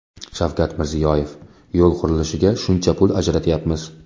Shavkat Mirziyoyev: Yo‘l qurilishiga shuncha pul ajratyapmiz.